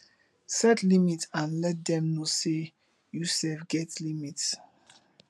set limit and let dem know sey you sef get limit